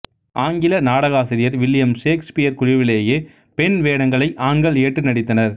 ஆங்கில நாடகாசிரியர் William Shakespeare குழுவிலேயே பெண் வேடங்களை ஆண்கள் ஏற்று நடித்தனர்